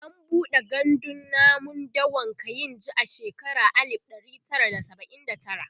an buɗe gandun namun dawan kainji a shekara alib ɗari Tara da saba'in da tara